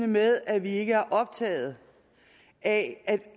med at vi ikke er optaget af at